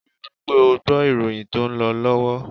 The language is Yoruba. Rí wípé ó gbọ́ ìròyìn tó ń lọ lọ́wọ́!